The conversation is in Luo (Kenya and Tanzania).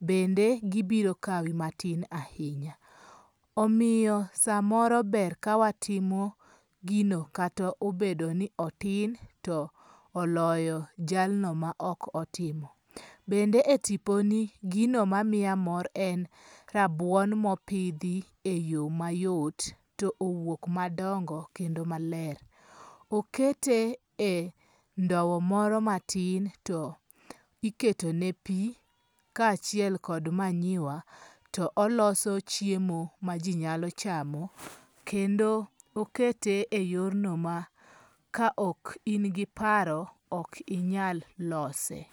bende gibiro kawi matin ahinya, omiyo samoro ber ka watimo gino kata obedo ni otin to oloyo jalno ma okotimo, bende e tiponi gino ma miya mor en rabuon mopithi e yo mayot to owuok madongo kendo maler, okete e ndowo moro matin to eketone pi kachiel kod manyiwa to oloso chiemo ma ji nyalo chamo, kendo okete e yorno ma ka ok ingi paro to ikinyal lose.